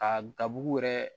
A dabugu yɛrɛ